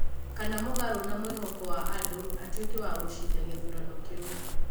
Kana mũgarũ na mwĩhoko wa andũ atuĩke wa gũcinda gĩthurano kĩu.